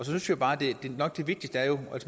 synes jeg bare at det vigtigste er at